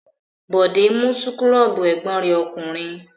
Bọ̀dé mú súkúrọ́bù ẹ̀gbọ́n rẹ̀ ọkùnrin.